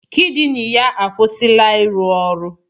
Kidini ya akwụsịla ịrụ ọrụ.